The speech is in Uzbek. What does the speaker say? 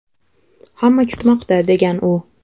Hamma kutmoqda”, degan u.